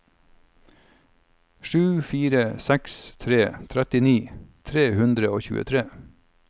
sju fire seks tre trettini tre hundre og tjuetre